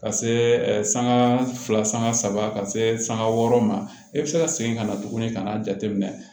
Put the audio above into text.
Ka se ɛ sanga fila sanga saba ka se sanga wɔɔrɔ ma e bɛ se ka segin ka na tuguni ka n'a jateminɛ